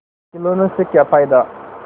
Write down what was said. खिलौने से क्या फ़ायदा